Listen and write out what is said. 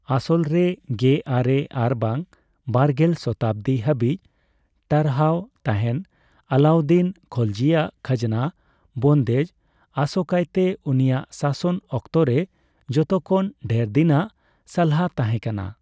ᱟᱥᱚᱞᱨᱮ ᱜᱮᱼᱟᱨᱮ ᱟᱨᱵᱟᱝ ᱵᱟᱨᱜᱮᱞ ᱥᱚᱛᱟᱵᱽᱫᱤ ᱦᱟᱹᱵᱤᱡ ᱴᱟᱨᱦᱟᱣ ᱛᱟᱦᱮᱱ ᱟᱞᱟᱭᱩᱫᱽᱫᱤᱱ ᱠᱷᱚᱞᱡᱤᱭᱟᱜ ᱠᱷᱟᱡᱽᱱᱟ ᱵᱚᱱᱫᱷᱮᱡᱽ, ᱟᱥᱠᱟᱭᱛᱮ ᱩᱱᱤᱭᱟᱜ ᱥᱟᱥᱚᱱ ᱚᱠᱛᱚᱨᱮ ᱡᱚᱛᱚᱠᱷᱚᱱ ᱰᱷᱮᱨᱫᱤᱱᱟᱜ ᱥᱟᱞᱦᱟ ᱛᱟᱦᱮᱸᱠᱟᱱᱟ ᱾